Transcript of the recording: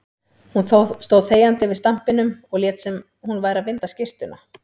Hún stóð þegjandi yfir stampinum og lét sem hún væri að vinda skyrtuna.